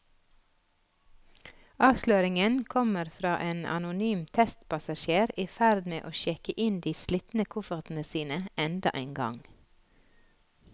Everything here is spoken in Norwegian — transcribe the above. Avsløringen kommer fra en anonym testpassasjer i ferd med å sjekke inn de slitne koffertene sine enda en gang.